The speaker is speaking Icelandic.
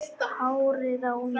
Hárið á mér?